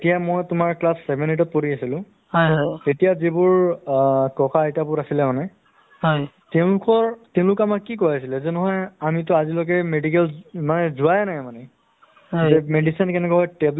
আহি পেলাই ব্যায়াম কৰিব পাৰে বা তাত ব্যায়াম কৰা সা-সঁজুলি সা-সামগ্ৰীবোৰ কোনোবাই যেনেকৈ মানুহে আ থাকে মানুহ হয়নে নহয় যেনেকা আপোনাৰ gym কৰিব যাওতে মানে য'ত অ শৰীৰ চৰ্চা চৰ্চা কৰা gym হয় সা-সামগ্ৰীবোৰ থাকে হয়নে নহয়